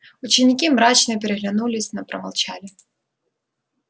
ученики мрачно переглянулись но промолчали